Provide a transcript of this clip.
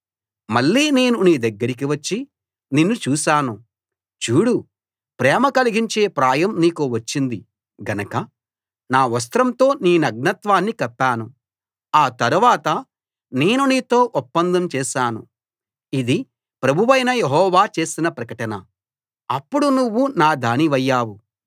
మళ్ళీ నేను నీ దగ్గరికి వచ్చి నిన్ను చూశాను చూడు ప్రేమ కలిగించే ప్రాయం నీకు వచ్చింది గనక నా వస్త్రంతో నీ నగ్నత్వాన్ని కప్పాను ఆ తరవాత నేను నీతో ఒప్పందం చేశాను ఇది ప్రభువైన యెహోవా చేసిన ప్రకటన అప్పుడు నువ్వు నా దానివయ్యావు